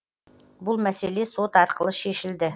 бұл мәселе сот арқылы шешілді